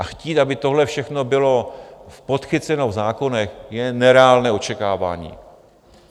A chtít, aby tohle všechno bylo podchyceno v zákonech, je nereálné očekávání.